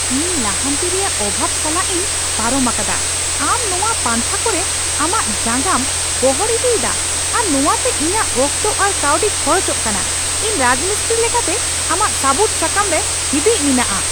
ᱤᱧ ᱞᱟᱦᱟᱱᱛᱤ ᱨᱮᱭᱟᱜ ᱚᱵᱷᱟᱵ ᱥᱟᱞᱟᱜ ᱤᱧ ᱯᱟᱨᱚᱢ ᱟᱠᱟᱫᱟ, ᱟᱢ ᱱᱚᱶᱟ ᱯᱟᱱᱛᱷᱟ ᱠᱚᱨᱮ ᱟᱢᱟᱜ ᱡᱟᱸᱜᱟᱢ ᱜᱚᱦᱚᱲ ᱤᱫᱤᱭᱮᱫᱟ ᱟᱨ ᱱᱚᱣᱟᱛᱮ ᱤᱧᱟᱹᱜ ᱚᱠᱛᱚ ᱟᱨ ᱠᱟᱹᱣᱰᱤ ᱠᱷᱚᱨᱚᱪᱚᱜ ᱠᱟᱱᱟ; ᱤᱧ ᱨᱟᱡᱽᱢᱤᱥᱛᱨᱤ ᱞᱮᱠᱟᱛᱮ ᱟᱢᱟᱜ ᱥᱟᱹᱵᱩᱫ ᱥᱟᱠᱟᱢ ᱨᱮ ᱦᱤᱸᱫᱤᱡ ᱢᱮᱱᱟᱜᱼᱟ